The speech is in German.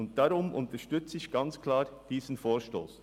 Deshalb unterstütze ich sehr klar diesen Vorstoss.